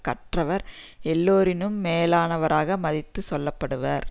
கற்றவர் எல்லோரினும் மேலானவராக மதித்து சொல்ல படுவார்